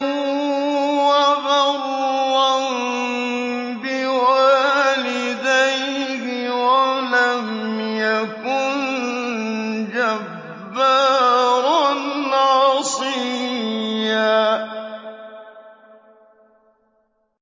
وَبَرًّا بِوَالِدَيْهِ وَلَمْ يَكُن جَبَّارًا عَصِيًّا